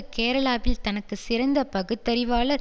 கேரளாவில் தனக்கு சிறந்த பகுத்தறிவாளர்